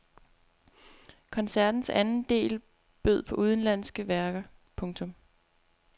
Koncertens anden del bød på udenlandske værker. punktum